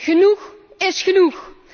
Genoeg is genoeg!